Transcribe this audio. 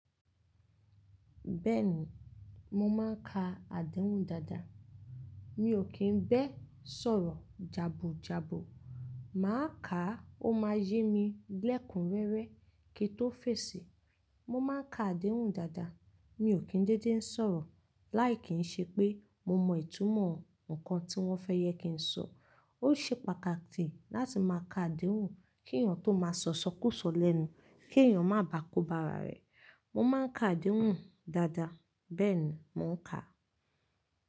Bẹ́ẹ̀ni, mo máa ń ka àdéhùn dáadáa. Mi ò kì ń bẹ́ẹ̀ sọ̀rọ̀ jàbu jàbu, màá kàá ó máa yé mi lẹ́kunrẹ́rẹ́ kí n tó fèsì. Mo máa ń ka àdéhùn dáadáa, mi ò kí ń déedé ń sọ̀rọ̀ láì kí ń ṣe pé mo mọ ìtumọ̀ ǹkan tí wọ́n fẹ́ jẹ kí ń sọ. Ó ṣe pàtàkì láti máa ka àdéhùn kí èèyán tó máa sọ isọkú sọ lẹ́nu, kí èèyán má bà kó ba arà rẹ̀. Mo máa ń ka àdéhùn dáadáa, bẹ́ẹ̀ ni mo ń kà.